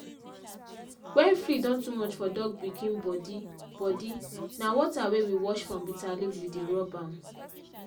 na oyel wey commot from garlic na im grandma dey rub for cow wey don old dem joint make e for allow dem waka well.